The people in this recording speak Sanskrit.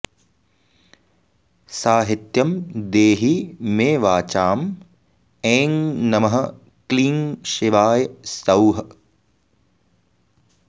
साहित्यं देहि मे वाचां ऐं नमः क्लीं शिवाय सौः